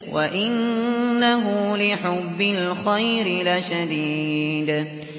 وَإِنَّهُ لِحُبِّ الْخَيْرِ لَشَدِيدٌ